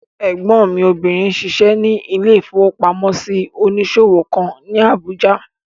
Ẹ̀gbọ́n mi obìnrin n ṣiṣẹ́ ní ilé-ìfowópamọ́sí onísòwò kan ní Àbújá